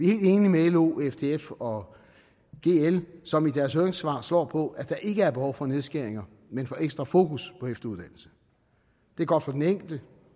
helt enige med lo ftf og gl som i deres høringssvar slår på at der ikke er behov for nedskæringer men for ekstra fokus på efteruddannelse det er godt for den enkelte